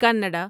کنڈا